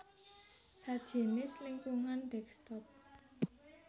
sajinis lingkungan desktop